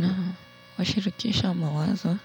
Nawashirikisha mawazo